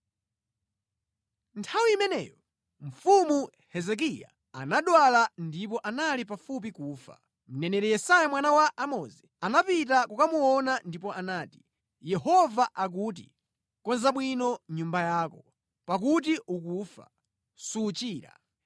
Nthawi imeneyo Mfumu Hezekiya anadwala ndipo anali pafupi kufa. Mneneri Yesaya mwana wa Amozi anapita kukamuona ndipo anati “Yehova akuti: Konza bwino nyumba yako, pakuti ukufa; suchira.”